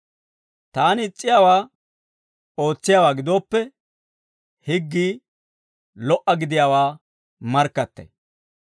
Taani is's'iyaawaa ootsiyaawaa gidooppe, higgii lo"a gidiyaawaa markkattay.